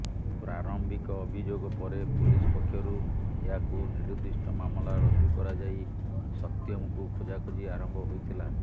ପ୍ରାରମ୍ଭିକ ଅଭିଯୋଗ ପରେ ପୁଲିସ ପକ୍ଷରୁ ଏହାକୁ ନିରୁଦ୍ଦିଷ୍ଟ ମାମଲା ରୁଜୁ କରାଯାଇ ସତ୍ୟମଙ୍କୁ ଖୋଜାଖୋଜି ଆରମ୍ଭ ହୋଇଥିଲା